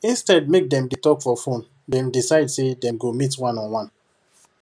instead make dem dey talk for phone dem decide say dem go meet one on one